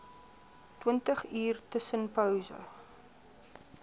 twintig uur tussenpose